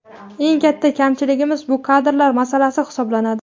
Eng katta kamchiligimiz bu kadrlar masalasi hisoblanadi.